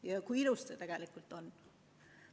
Ja kui ilus siin tegelikult on!